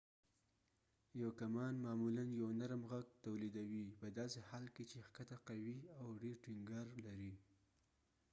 یو کمان معمولا یو نرم غږ تولیدوي پداسې حال کې چې ښکته قوي او ډیر ټینګار لري